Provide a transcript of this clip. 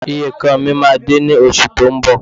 Ìyekan mi máa dé ní oṣù tó ń bọ̀